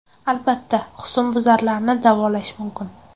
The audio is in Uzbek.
Albatta, husnbuzarlarni davolash mumkin.